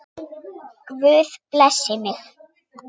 Guð blessi mig.